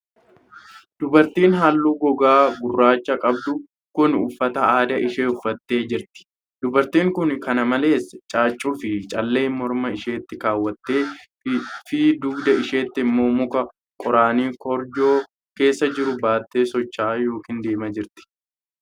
Dubartiin halluu gogaa gurraacha qabdu kun, uffata aadaa ishee uffattee jirti. Dubartiin kun, kana malees caaccuu fi callee morma isheetti kaawwattee fi dugda isheetti immoo muka qoraanii korojoo keessa jiru baattee socho'aa yokin deemaa jirti.